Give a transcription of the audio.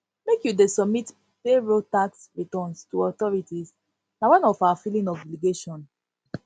make you dey submit payroll tax submit payroll tax returns to authorities na one of our filing obligation